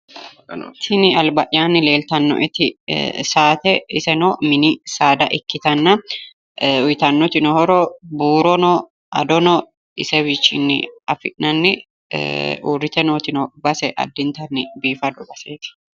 Tini alba'yaanni leeltanno'eti saate iseno mini saada ikkitanna uyitannotino horo buurono adono isewiichchinni afi'nanni uurrite nootino base addintanni biifado baseeti